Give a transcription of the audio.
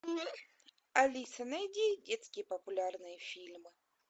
алиса найди детские популярные фильмы